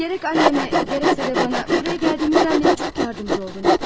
Gərək annemə, gərəksə də bana buraya gəldiyinizdən bəri çox yardımcı oldunuz.